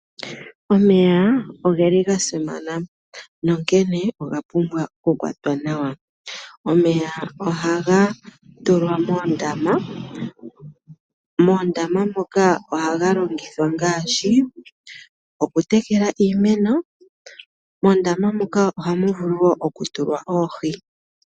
Omeya ogeli ga simana onkene oga pumbwa oku kwatwa nawa. Omeya ohaga tulwa moondama, moondama moka ohaga longithwa ngaashi okutekela iimeno. Mondama moka ohamu vulu woo oku tulwa oohi.